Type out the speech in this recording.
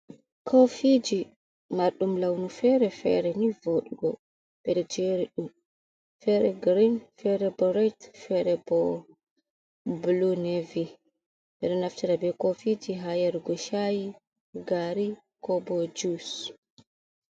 Koofiiji, marɗum launu feere feere ni voɗugo, ɓeɗon jeeriɗum, feere giirin, feere bo ret, feere bo bulu nevi, ɓeɗo naftira be koofiji ha yargo ca'i, gaari koobo jus.